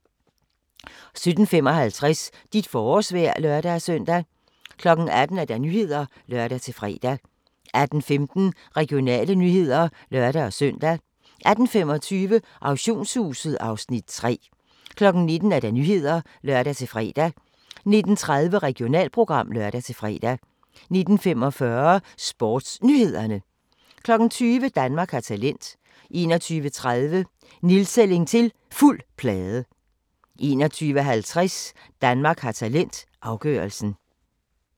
17:55: Dit forårsvejr (lør-søn) 18:00: Nyhederne (lør-fre) 18:15: Regionale nyheder (lør-søn) 18:25: Auktionshuset (Afs. 3) 19:00: Nyhederne (lør-fre) 19:30: Regionalprogram (lør-fre) 19:45: SportsNyhederne 20:00: Danmark har talent 21:30: Nedtælling til Fuld plade 21:50: Danmark har talent - afgørelsen